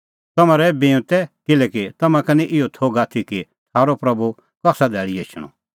तम्हैं रहै बिऊंतै किल्हैकि तम्हां का निं इहअ थोघ आथी कि थारअ प्रभू कसा धैल़ी एछणअ